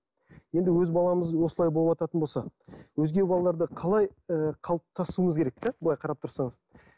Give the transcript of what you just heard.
енді өз баламыз осылай болывататын болса өзге балаларды қалай ы қалыптасуымыз керек те былай қарап тұрсаңыз